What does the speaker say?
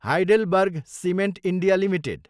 HeidelbergCement India Ltd